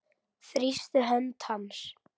Þrýsti hönd hans.